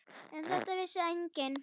Um þetta vissi enginn.